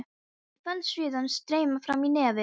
Ég fann sviðann streyma fram í nefið.